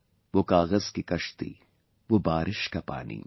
Wo kagaz ki kashti, wo baarish ka paani